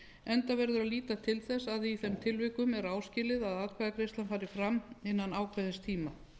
enda verður líta til þess að í þeim tilvikum er áskilið að atkvæðagreiðslan fari fram innan ákveðins tíma